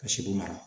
Ka sɛbo mara